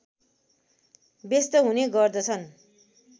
व्यस्त हुने गर्दछन्